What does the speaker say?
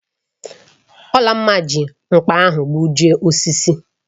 Olamma ji nkpa ahu gbujịe osisi